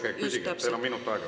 Jaa, palun küsige, teil on minut aega.